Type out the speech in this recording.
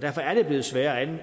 derfor er det blevet sværere at